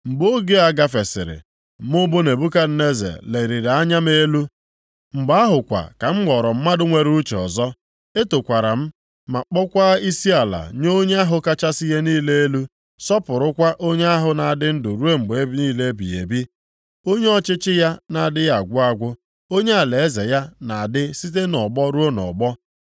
Mgbe oge a gafesịrị, mụ bụ Nebukadneza leliri anya m elu. Mgbe ahụ kwa ka m ghọrọ mmadụ nwere uche ọzọ. Etokwara m, ma kpọọkwa isiala nye Onye ahụ kachasị ihe niile elu, sọpụrụkwa Onye ahụ na-adị ndụ ruo mgbe niile ebighị ebi. Onye ọchịchị ya na-adịghị agwụ agwụ, onye alaeze ya na-adị site nʼọgbọ ruo nʼọgbọ.